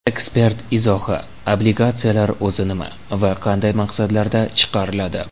Ekspert izohi: Obligatsiyalar o‘zi nima va qanday maqsadlarda chiqariladi?.